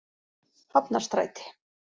Hafnarstræti